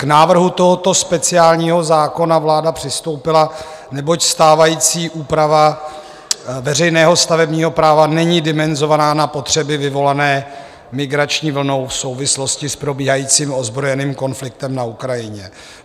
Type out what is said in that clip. K návrhu tohoto speciálního zákona vláda přistoupila, neboť stávající úprava veřejného stavebního práva není dimenzovaná na potřeby vyvolané migrační vlnou v souvislosti s probíhajícím ozbrojeným konfliktem na Ukrajině.